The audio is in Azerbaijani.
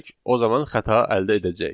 o zaman xəta əldə edəcəyik.